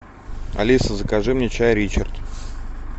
алиса закажи мне чай ричард